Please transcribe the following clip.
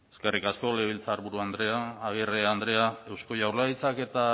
eskerrik asko legebiltzarburu andrea agirre andrea eusko jaurlaritzak eta